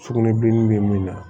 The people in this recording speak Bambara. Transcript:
Sugunɛbilenni bɛ min na